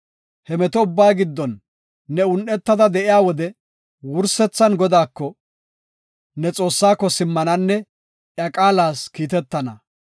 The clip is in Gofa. He meto ubbaa giddon ne un7etada de7iya wode wursethan Godaako, ne Xoossaako simmananne iya qaalas kiitetana.